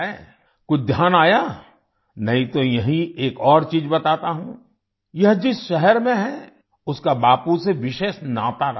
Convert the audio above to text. कुछ ध्यान आया नहीं तो यहीं एक और चीज़ बताता हूँ यह जिस शहर में है उसका बापू से विशेष नाता रहा है